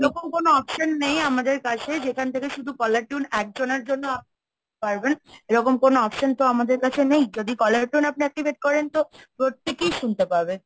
এরকম কোন option নেই আমাদের কাছে, যেখান থেকে শুধু caller tune একজনের জন্য পারবেন। এরকম কোনো option তো আমাদের কাছে নেই, যদি caller tune এ আপনি activate করেন তো প্রত্যেকেই শুনতে পাবে।